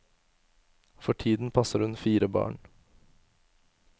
For tiden passer hun fire barn.